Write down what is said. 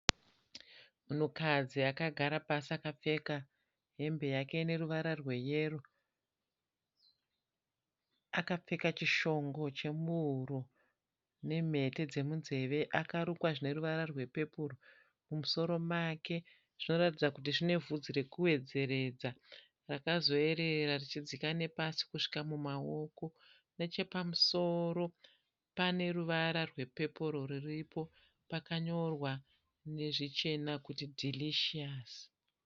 Munhukadzi akagara pasi. Akapfeka hembe yake ine ruvara rweyero. Akapfeka chishongo chemuhuro nemhete dzemunzeve. Akarukwa zvine ruvara rwepepuro. Mumusoro make zvinoratidza kuti zvine bvudzi rekuwedzeredza rakazoyerera richidzika nepasi kusvika mumaoko. Nechepamusoro pane ruvara rwepepuro rwuripo pakanyorwa nezvichena kuti (delicious)